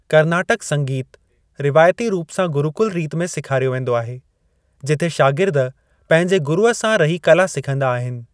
कर्नाटक संगीतु रिवायती रूप सां गुरुकुल रीति में सेखारियो वेंदो आहे, जिथे शागिर्द पंहिंजे गुरुअ सां रही कला सिखंदा आहिनि।